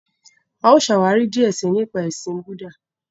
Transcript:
A ó ṣàwári díẹ sii nípa ẹṣin Búúdà.